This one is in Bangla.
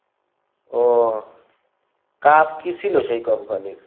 ওহ, কাজ কী ছিল সেই company র?